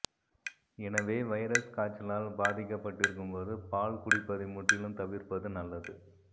எனவே வைரஸ் காய்ச்சலால் பாதிக்கப்பட்டிருக்கும் போது பால் குடிப்பதை முற்றிலும் தவிர்ப்பது நல்லது